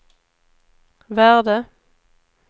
värde